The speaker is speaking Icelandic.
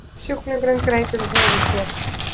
Sjúklingurinn greip um höfuð sér.